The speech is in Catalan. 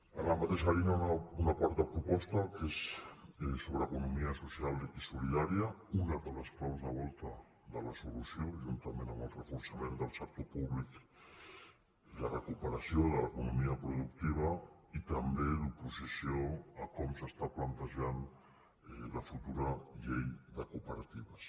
en la mateixa línia una quarta proposta que és sobre economia social i solidària una de les claus de volta de la solució juntament amb el reforçament del sec·tor públic i la recuperació de l’economia productiva i també d’oposició a com s’està plantejant la futura llei de cooperatives